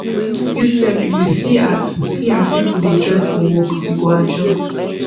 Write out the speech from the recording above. you sef if you see as see as pipo dey dress for work you go adjust